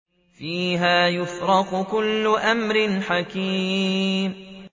فِيهَا يُفْرَقُ كُلُّ أَمْرٍ حَكِيمٍ